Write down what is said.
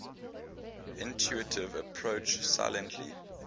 intuitive approach silently